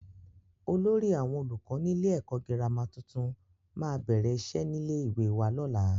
Olórí àwọn olùkọ́ nílé ẹ̀kọ́ gírámà tuntun máa bẹ̀rẹ̀ iṣẹ́ nílé ìwé wa lọ́la.